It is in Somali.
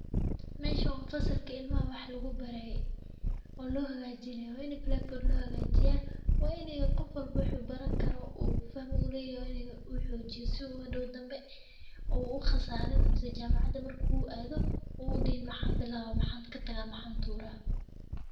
Meesha uu fasalka ilmaha wax lagu baray, oo loo hagaajinayo waa inay blackboard loo hagajiya. Waa inay qof walba wuxuu baran karo uu fahmo u leeyahay uu xoojiyo si uu dhow dambe oo khasaarin mise jaamacaddad marka uu aado uu dihin maxaan bilawaa maxandka taga maxan tuura.